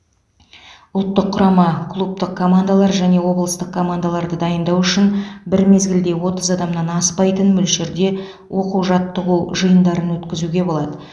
ұлттық құрама клубтық командалар және облыстық командаларды дайындау үшін бір мезгілде отыз адамнан аспайтын мөлшерде оқу жаттығу жиындарын өткізуге болады